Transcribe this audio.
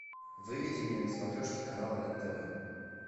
выведи мне на смотрешке канал рен тв